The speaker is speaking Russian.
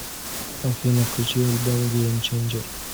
афина включи альбом гейм ченджер